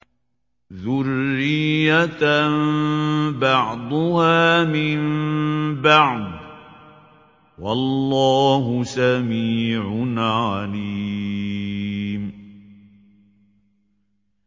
ذُرِّيَّةً بَعْضُهَا مِن بَعْضٍ ۗ وَاللَّهُ سَمِيعٌ عَلِيمٌ